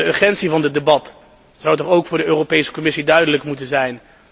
Want de urgentie van dit debat zou toch ook voor de Europese Commissie duidelijk moeten zijn.